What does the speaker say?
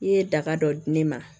I ye daga dɔ di ne ma